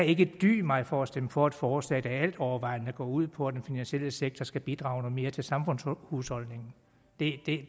ikke kan dy mig for at stemme for et forslag der altovervejende går ud på at den finansielle sektor skal bidrage med noget mere til samfundshusholdningen det det